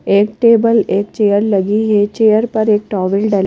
एक टेबल एक चेयर लगी है चेयर पर एक टॉवल डला--